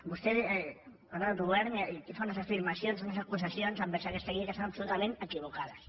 vostè parla d’ autogovern i aquí fa unes afirmacions unes acusacions envers aquesta llei que són absolutament equivocades